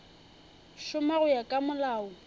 šoma go ya ka molao